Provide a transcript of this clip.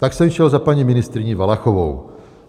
Tak jsem šel za paní ministryní Valachovou.